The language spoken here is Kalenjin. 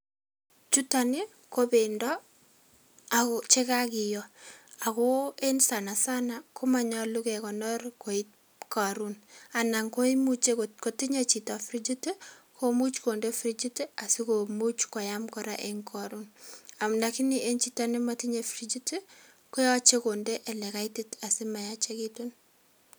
Chuton nii ko pendo ako chekakiyoo ako en sana sana komoyolu kekonor koit korun anan ko imuche kot kotinyee chito frichit tii koimuch konde frichit tii asikomuch koam koraa en korun, lakini en chito nemotinyee frichit tii koyoche konde ole kaitit asimayachekitun.